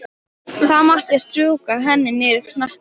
Þá áttu að strjúka henni niður hnakkann.